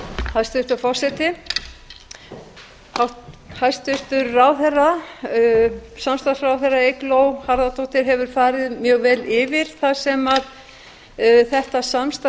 hæstvirtur forseti hæstvirtur samstarfsráðherra eygló harðardóttir hefur farið mjög vel yfir það sem þetta samstarf